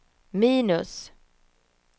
minus